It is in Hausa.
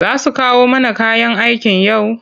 Za su kawo mana kayan aikin yau?